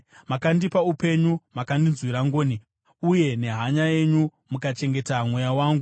Makandipa upenyu mukandinzwira ngoni, uye nehanya yenyu mukachengeta mweya wangu.